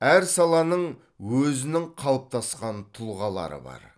әр саланың өзінің қалыптасқан тұлғалары бар